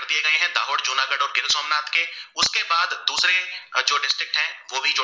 वो भी